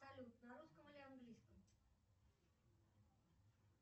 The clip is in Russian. салют на русском или английском